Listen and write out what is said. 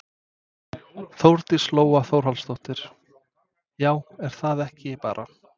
Þórdís Lóa Þórhallsdóttir: Já er það ekki bara?